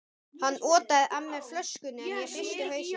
Hann otaði að mér flöskunni, en ég hristi hausinn.